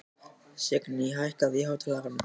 Signý, hækkaðu í hátalaranum.